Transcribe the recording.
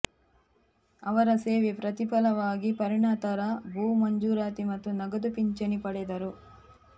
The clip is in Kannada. ಅವರ ಸೇವೆ ಪ್ರತಿಫಲವಾಗಿ ಪರಿಣತರ ಭೂ ಮಂಜೂರಾತಿ ಮತ್ತು ನಗದು ಪಿಂಚಣಿ ಪಡೆದರು